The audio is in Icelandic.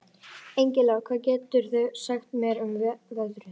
Engilráð, hvað geturðu sagt mér um veðrið?